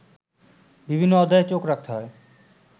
বিভিন্ন অধ্যায়ে চোখ রাখতে হয়